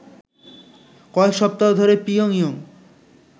কয়েক সপ্তাহ ধরে পিয়ংইয়ং